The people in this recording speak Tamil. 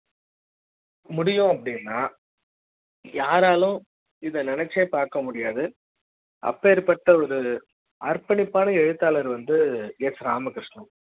முடியும் அப்படினா யாராலும் இத நினைச்சே பார்க்க முடியாது அப்பேற்பட்ட ஒரு அர்ப்பணிப்பான எழுத்தாளர் வந்து s ராமகிருஷ்ண